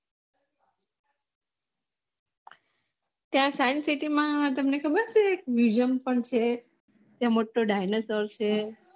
ત્યાં science city માં તમેન ખબર છે એક વિસન પણ છે ત્યાં મોટો dinosaur છે